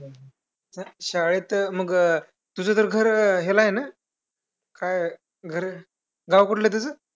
पिण्याच्या पाण्यासाठी इथे इकडून कमीत कमी पाचशे मीटर लांब इतके आपल्याला पायी चालत जावे लागत होते आणि पाणी आणावं लागतं होत दळणवळणाच्या सुविधा नव्हत्या म्हणून गाड्या आत बाहेर जाऊ शकत नव्हता .